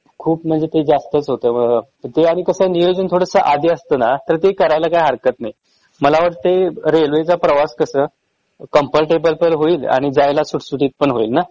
खूप म्हणजे ते जास्तच होतंय बरं त्यारी कसंय नियोजन थोडंस आधी असतं ना तर ते करायला हरकत नाही.मला वाटतंय रेल्वे चा प्रवास कसं comfrtable पण होईल आणि जायला सुटसुटीत पण होईल ना?